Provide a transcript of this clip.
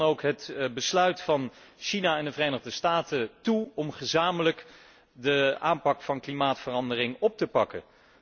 Ik juich dan ook het besluit van China en de Verenigde Staten toe om gezamenlijk de aanpak van klimaatverandering op te pakken.